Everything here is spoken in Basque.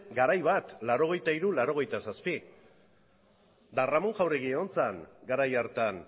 garai bat laurogeita hiru laurogeita zazpi eta ramón jauregi egon zen garai hartan